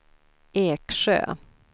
Eksjö